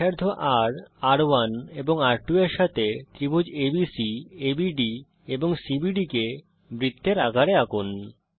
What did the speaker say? ব্যাসার্ধ রের রের1 এবং রের2 এর সাথে ত্রিভুজ এবিসি এবিডি এন্ড CBD কে বৃত্তের আকারে আঁকুন